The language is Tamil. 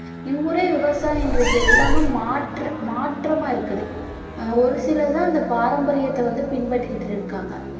இம்முறை விவசாயம் இன்றைக்கு எல்லாமே மாற்று மாற்றமா இருக்குது ஒரு சிலர் தான் அந்த பாரம்பரியத்த வந்து பின்பற்றிக்கிட்டு இருக்காங்க